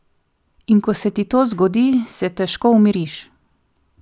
In ko se ti to zgodi, se težko umiriš.